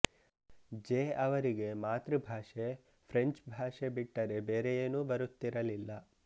J ಅವರಿಗೆ ಮಾತೃ ಭಾಷೆ ಫ್ರೆಂಚ್ ಭಾಷೆ ಬಿಟ್ಟರೆ ಬೇರೆಯೇನೂ ಬರುತ್ತಿರಲಿಲ್ಲ